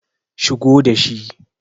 Shigo da shi.